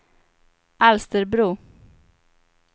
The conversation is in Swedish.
Alsterbro